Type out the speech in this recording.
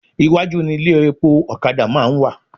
Iwájú ni ilé epo ọ̀kadà máa ń wà